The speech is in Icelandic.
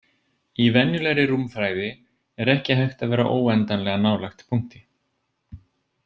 Í venjulegri rúmfræði er ekki hægt að vera óendanlega nálægt punkti.